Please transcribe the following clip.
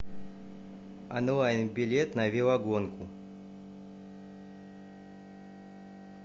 онлайн билет на велогонку